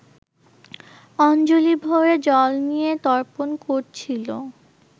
অঞ্জলি ভরে জল নিয়ে তর্পণ করছিলো